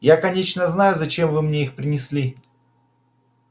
я конечно знаю зачем вы мне их принесли